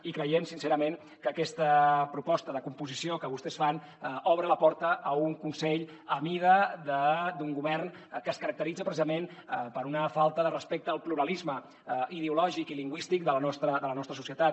i creiem sincerament que aquesta proposta de composició que vostès fan obre la porta a un consell a mida d’un govern que es caracteritza precisament per una falta de respecte al pluralisme ideològic i lingüístic de la nostra societat